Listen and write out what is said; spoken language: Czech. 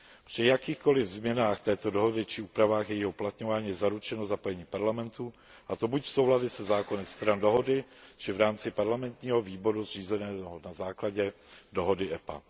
Při jakýchkoli změnách této dohody či úpravách jejího uplatňování je zaručeno zapojení parlamentů, a to buď v souladu se zákony stran dohody, či v rámci parlamentního výboru zřízeného na základě dohody EPA.